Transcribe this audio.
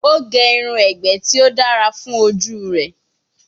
O ge irun egbe ti o dara fun oju rẹ.